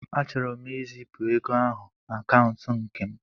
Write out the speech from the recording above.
Achọrọ m izipụ ego ahụ na akaụntụ nke m.